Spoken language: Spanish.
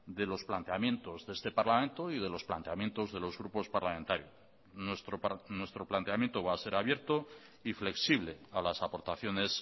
de los planteamientos de este parlamento y de los planteamientos de los grupos parlamentarios nuestro planteamiento va a ser abierto y flexible a las aportaciones